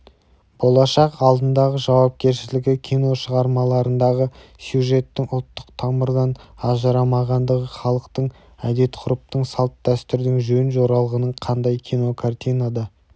болашақ алдындағы жауапкершілігі кино шығармаларындағы сюжеттің ұлттық тамырдан ажырамағандығы халықтық әдет-ғұрыптың салт-дәстүрдің жөн-жоралғының қандай кинокартинада